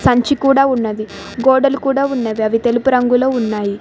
సంచి కూడా ఉన్నది గోడలు కూడా ఉన్నవి. అవి తెలుపు రంగులో ఉన్నాయి.